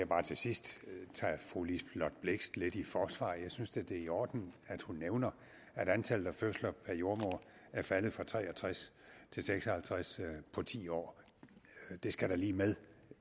bare til sidst tage fru liselott blixt lidt i forsvar jeg synes da det er i orden at hun nævner at antallet af fødsler per jordemoder er faldet fra tre og tres til seks og halvtreds på ti år det skal da lige med